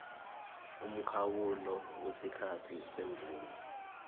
umkhawulo wesikhathi semvume